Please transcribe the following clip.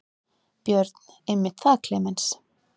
Björn: Einmitt það Klemenz.